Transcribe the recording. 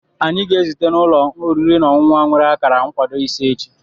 Anyị ga-ezute na ụlọ oriri na ọṅụṅụ ahụ nwere akara nkwado ise echi.